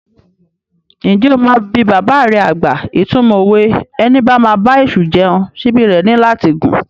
Ǹjẹ́ o máa bi bàbà rẹ àgbà ìtumọ̀ òwe "Ẹni bá máa bá èṣù jẹun, síbí rẹ̀ ní láti gùn"?